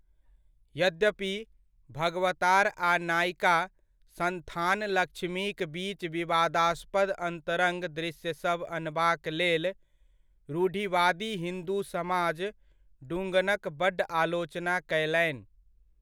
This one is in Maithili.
यद्यपि, भगवतार आ नायिका संथानलक्ष्मीक बीच विवादास्पद अन्तरंग दृश्यसभ अनबाक लेल, रूढ़िवादी हिन्दु समाज डुंगनक बड्ड आलोचना कयलनि।